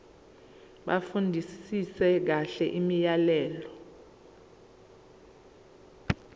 bafundisise kahle imiyalelo